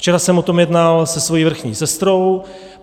Včera jsem o tom jednal se svou vrchní sestrou.